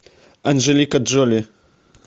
анжелика джоли